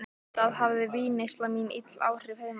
Auðvitað hafði vínneysla mín ill áhrif heima.